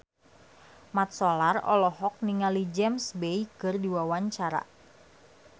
Mat Solar olohok ningali James Bay keur diwawancara